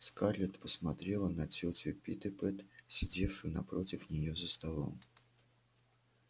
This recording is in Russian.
скарлетт посмотрела на тётю питтипэт сидевшую напротив неё за столом